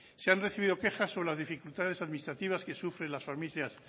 se han recibido quejas sobre las dificultades administrativas que sufren las familias